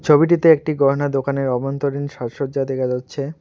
ছবিটিতে একটি গহনার দোকানের অভ্যন্তরীণ সাজসজ্জা দেখা যাচ্ছে।